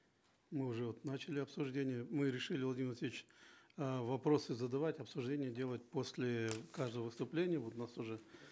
мы уже вот начали обсуждение мы решили владимир васильевич э вопросы задавать обсуждение делать после каждого выступления вот у нас уже